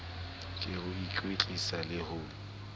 ke ho ikwetlisa le ho